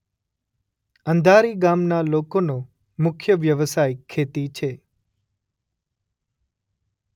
અંધારી ગામના લોકોનો મુખ્ય વ્યવસાય ખેતી છે.